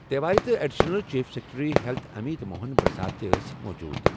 تیواری تہٕ additional chief secretary health Amit Mohan Prasad تہِ ٲسۍ موجود۔